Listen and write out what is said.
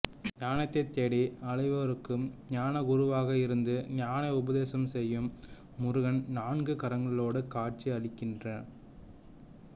ஞானத்தைத் தேடி அலைவோருக்கு ஞானகுருவாக இருந்து ஞான உபதேசம் செய்யும் முருகன் நான்கு கரங்களோடு காட்சி அளிக்கின்றான்